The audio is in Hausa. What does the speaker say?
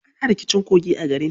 Ana rikicin kogi a garin.